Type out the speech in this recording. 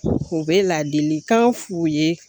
U bɛ ladilikan f'u ye